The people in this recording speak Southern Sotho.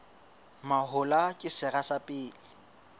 mahola ke sera sa pele